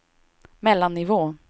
mellannivå